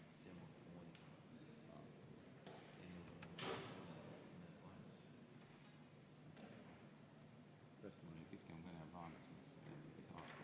Head kolleegid!